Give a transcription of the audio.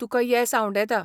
तुकां येस आंवडेतां.